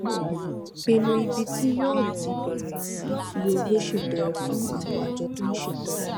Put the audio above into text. pinnu ibi tí yóò ti bèrè sí fi owó ṣètọrẹ fún àwọn àjọ tó ń ṣètọrẹ